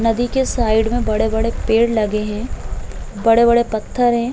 नदी के साइड में बड़े-बड़े पेड़ लगे हैं। बड़े-बड़े पत्थर हैं।